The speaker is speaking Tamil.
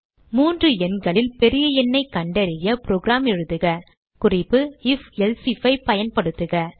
3 எண்களில் பெரிய எண்ணைக் கண்டறிய புரோகிராம் எழுதுககுறிப்பு ifஎல்சே ஐஎஃப் பயன்படுத்துக